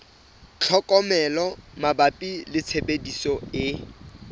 tlhokomelo mabapi le tshebediso e